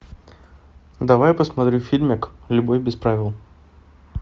давай посмотрим фильмик любовь без правил